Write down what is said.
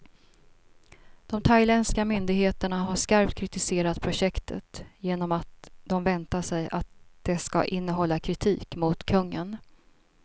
De thailändska myndigheterna har skarpt kritiserat projektet, genom att de väntar sig att det ska innehålla kritik mot kungen.